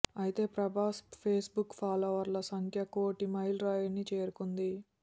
అయితే ప్రభాస్ ఫేస్బుక్ ఫాలోవర్ల సంఖ్య కోటి మైలురాయిని చేరుకుంది